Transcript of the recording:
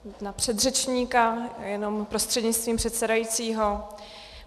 Na předřečníka jenom prostřednictvím předsedajícího.